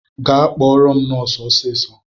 Gaa kpọrọ m nọsu ọsịsọ!